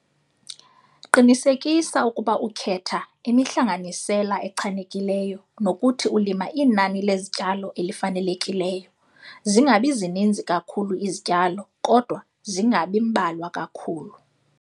Qinisekisa ukuba ukhetha imihlanganisela echanekileyo nokuthi ulima inani lezityalo elifanelekileyo - zingabi zininzi kakhulu izityalo, kodwa zingabi mbalwa kakhulu.